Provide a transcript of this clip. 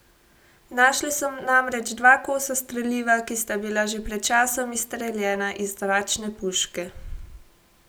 Našli so namreč dva kosa streliva, ki sta bila že pred časom izstreljena iz zračne puške.